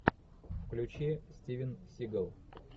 включи стивен сигал